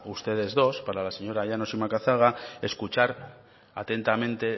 ustedes dos para la señora llanos y macazaga escuchar atentamente